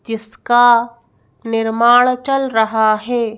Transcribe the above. जिसका निर्माण चल रहा है।